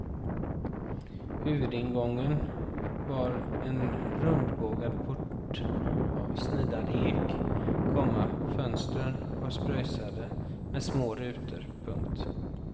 Huvudingången var en rundbågad port av snidad ek, komma fönstren var spröjsade med små rutor. punkt